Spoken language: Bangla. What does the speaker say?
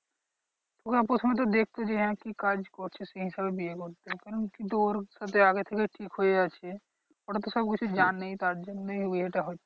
ওরা প্রথমে তো দেখতো যে হ্যাঁ কি কাজ করছিস? সেই হিসেবে বিয়ে করছে কিন্তু ওর আগে থেকেই ঠিক হয়ে আছে ওরা তো সবকিছু জানে তার জন্যেই বিয়েটা হচ্ছে।